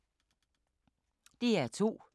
DR2